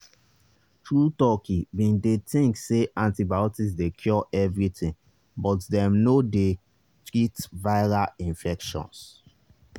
true talki bin dey think say antibiotics dey cure everything but dem no dey treat viral infections.